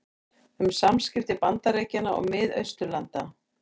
Um samskipti Bandaríkjanna og Mið-Austurlanda